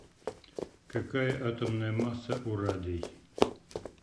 какая атомная масса у радий